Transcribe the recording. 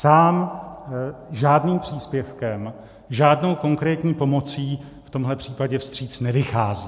Sám žádným příspěvkem, žádnou konkrétní pomoci v tomto případě vstříc nevychází.